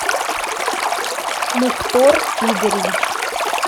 мухтор игоревич